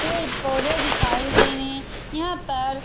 पेड़ पौधे दिखाई दे रहे हैं यहां पर।